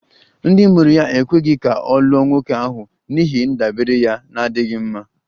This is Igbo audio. Ndị mụrụ ya ekweghị ka ọ lụọ nwoke ahụ n'ihi ndabere ya na-adịghị mma